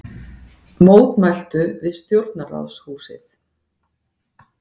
Mótmæltu við stjórnarráðshúsið